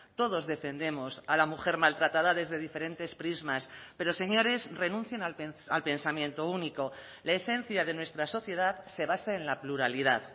todos defendemos a la mujer maltratada desde diferentes prismas pero señores renuncien al pensamiento único la esencia de nuestra sociedad se basa en la pluralidad